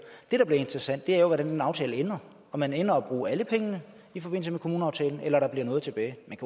det der bliver interessant er hvordan den aftale ender om man ender med at bruge alle pengene i forbindelse med kommuneaftalen eller der bliver noget tilbage men